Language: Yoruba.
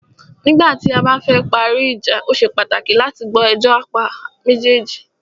Nígbà tí a bá fẹ parí ìjà,o ṣe pàtàkì láti gbọ́ ẹjọ́ apá méjèèjì.